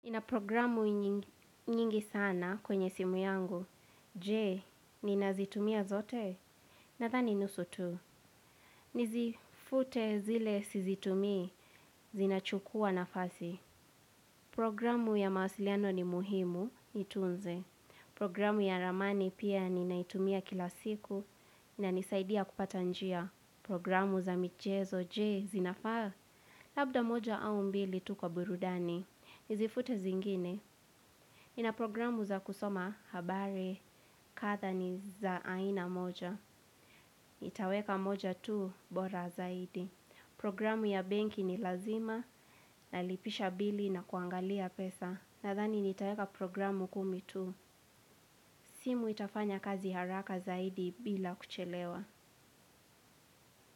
Ina programu nyingi sana kwenye simu yangu. Je, ninazitumia zote? Nadhani nusu tu. Nizifute zile sizitumii. Zinachukua nafasi, programu ya mawasiliano ni muhimu nitunze. Programu ya ramani pia ninaitumia kila siku, inanisaidia kupata njia. Programu za michezo je, zinafaa. Labda moja au mbili tu kwa burudani. Nizifute zingine. Nina programu za kusoma habari kadhaa ni za aina moja. Nitaweka moja tu bora zaidi. Programu ya benki ni lazima nalipisha bili na kuangalia pesa. Nadhani nitaweka programu kumi tu. Simu itafanya kazi haraka zaidi bila kuchelewa.